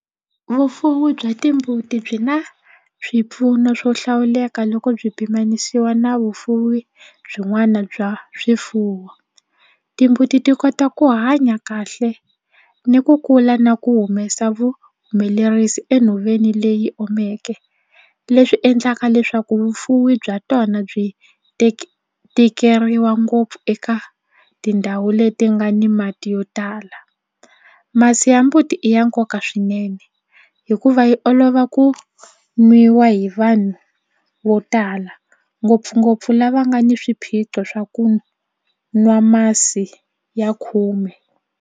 Vufuwi bya timbuti byi na swipfuno swo hlawuleka loko byi pimanisiwa na vufuwi byin'wana bya swifuwo. Timbuti ti kota ku hanya kahle ni ku kula na ku humesa vuhumelerisi enhoveni leyi omeke leswi endlaka leswaku vufuwi bya tona byi tikeriwa ngopfu eka tindhawu leti nga ni mati yo tala. Masi ya mbuti i ya nkoka swinene hikuva yi olova ku nwiwa hi vanhu vo tala ngopfungopfu lava nga ni swiphiqo swa ku nwa masi ya khume.